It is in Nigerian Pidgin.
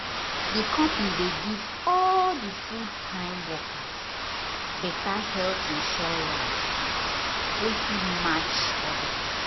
di company dey give all dia full-time workers better health insurance wey fit match others.